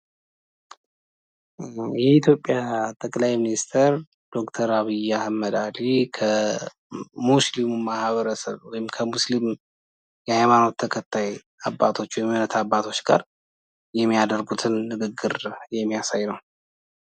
የኢትዮጵያ ጠቅላይ ሚኒስትር ዶክተር አብይ አህመድ ዓሊ ከሙስሊም ማህበረሰብ የሃይማኖት ተከታይ የሚያደርጉትን ንግግር የሚያሳይ ነው።